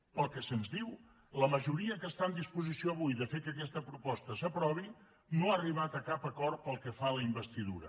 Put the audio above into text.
pel que se’ns diu la majoria que està en disposició avui de fer que aquesta proposta s’aprovi no ha arribat a cap acord pel que fa a la investidura